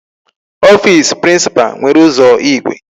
Office principal nwere ụzọ igwe.